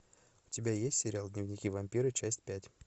у тебя есть сериал дневники вампира часть пять